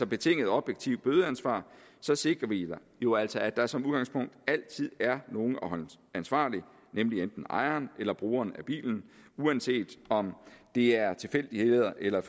betinget objektivt bødeansvar sikrer vi jo altså at der som udgangspunkt altid er nogen at holde ansvarlig nemlig enten ejeren eller brugeren af bilen uanset om det er tilfældigheder eller